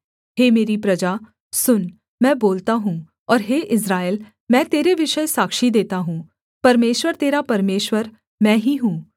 हे मेरी प्रजा सुन मैं बोलता हूँ और हे इस्राएल मैं तेरे विषय साक्षी देता हूँ परमेश्वर तेरा परमेश्वर मैं ही हूँ